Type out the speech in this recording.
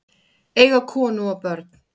Eiga konu og börn?